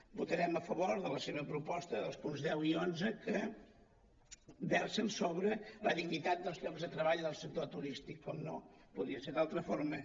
votarem a favor de la seva proposta dels punts deu i onze que versen sobre la dignitat dels llocs de treball del sector turístic com no podia ser d’altra forma